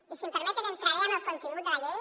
i si m’ho permeten entraré en el contingut de la llei